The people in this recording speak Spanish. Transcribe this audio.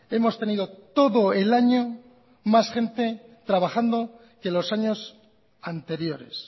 hemos tenido todo el año más gente trabajando que los años anteriores